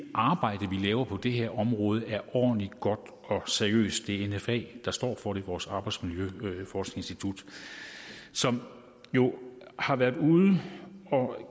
laver på det her område er ordentligt godt og seriøst det er nfa der står for det vores arbejdsmiljøforskningsinstitut som jo har været ude og